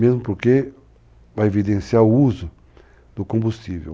mesmo porque vai evidenciar o uso do combustível.